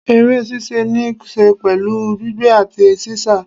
eré ṣíṣe ni se pẹlu gbígbé ati sísá